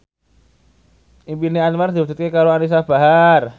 impine Anwar diwujudke karo Anisa Bahar